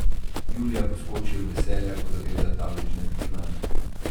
Julija poskoči od veselja, ko zagleda tablični računalnik.